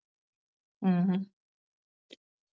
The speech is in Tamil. ஹம்